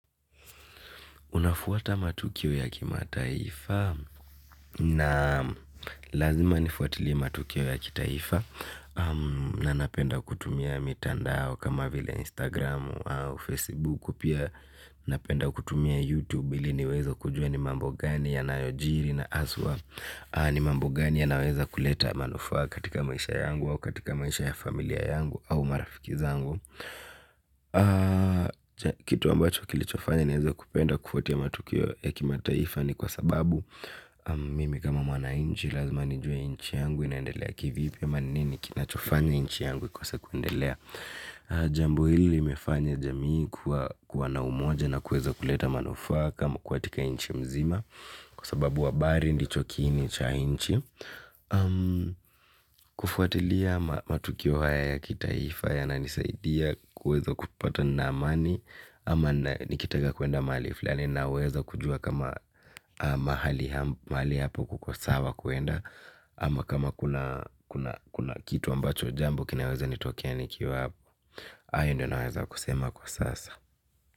Unafuata matukio ya kima taifa? Naam, lazima nifuatilie matukio ya kitaifa na napenda kutumia mitandao kama vile instagramu au facebook pia napenda kutumia youtube ili niweze kujua ni mambo gani ya na yojiri na aswa ni mambo gani ya naweza kuleta manufaa katika maisha yangu au katika maisha ya familia yangu au marafiki zangu. Kitu ambacho kilichofanya nieze kupenda kufuatia matukio ya kima taifa ni kwa sababu mimi kama mwanainchi lazima nijue nchi yangu inaendelea kivipi ama nini kinachofanya nchi yangu ikose kuendelea. Jambo hili limefanya jamii kuwa naumoja na kuweza kuleta manufaa kama kuatika inchi mzima. Kwa sababu wa habari ndi chokiini cha inchi. Kufuatilia matukio haya ya kitaifaya na nisaidia kuweza kupata ninaamani. Ama nikitaga kuenda mahali fulani naweza kujua kama mahali hapo kukosawa kuenda. Ama kama kuna kitu ambacho jambo kinaweza nitokea nikiwa hapo. Ayo ndio naweza kusema kwa sasa.